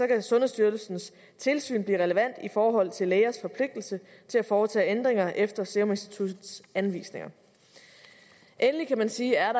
kan sundhedsstyrelsens tilsyn blive relevant i forhold til lægers forpligtelse til at foretage ændringer efter seruminstituttets anvisninger endelig kan man sige at